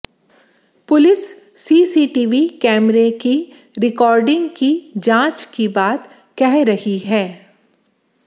police CCTV कैमरे की recording की जांच की बात कह रही है